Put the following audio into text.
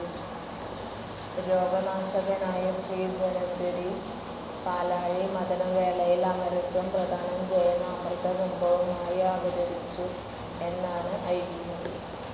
രോഗനാശകനായ ശ്രീ ധന്വന്തരി പാലാഴി മഥനവേളയിൽ അമരത്വം പ്രദാനം ചെയ്യുന്ന അമൃതകുംഭവുമായി അവതരിച്ചു എന്നാണ് ഐതിഹ്യം.